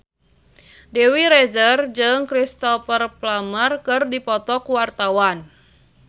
Dewi Rezer jeung Cristhoper Plumer keur dipoto ku wartawan